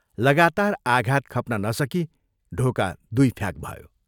लगातार आघात खप्न नसकी ढोका दुइ फ्याक भयो।